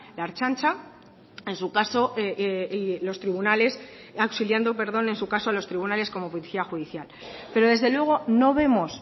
la ertzaintza auxiliando en su caso a los tribunales como policía judicial pero desde luego no vemos